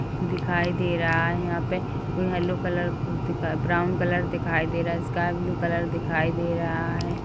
दिखाई दे रहा है यहाँ पे कोई हेल्लो कलर ब्राउन कलर दिखाई दे रहा है स्काई ब्लू कलर दिखाई दे रहा है।